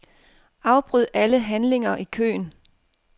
Afbryd alle handlinger i køen.